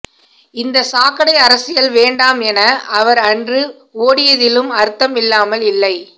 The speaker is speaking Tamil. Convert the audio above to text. இந்த சாக்கடை அரசியல் வேண்டாம் என அவர் அன்று ஓடியதிலும் அர்த்தம் இல்லாமல் இல்லை